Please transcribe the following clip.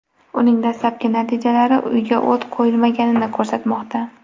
Uning dastlabki natijalari uyga o‘t qo‘yilmaganini ko‘rsatmoqda.